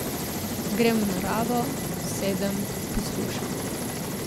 Grem v naravo, sedem, poslušam.